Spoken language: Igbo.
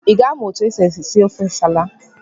I ga-amụ otu esi ofe nsala?